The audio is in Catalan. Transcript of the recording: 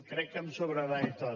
crec que me’n sobrarà i tot